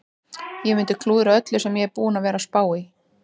Ég mundi klúðra öllu sem ég er búinn að vera að spá í.